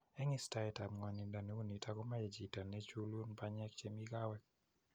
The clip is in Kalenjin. Eng istaet ab ng'wanindo neunitok komache chito nechulun banyeek chemii kaweek